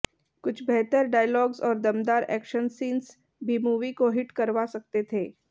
कुछ बेहतर डायलॉग्स और दमदार एक्शन सींस भी मूवी को हिट करवा सकते थे